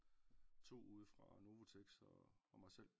To ude fra Novoteks og og mig selv